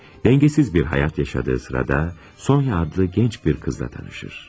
Dəngəsiz bir həyat yaşadığı sırada Sonya adlı gənc bir qızla tanışır.